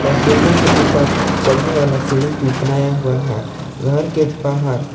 और बिल्डिंग के ऊपर चघने वाला सीढ़ी भी बनाया हुआ है घर के बाहर--